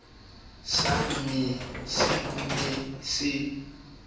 sa mothomo se ne se